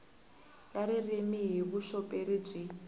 ya ririmi hi vuxoperi byi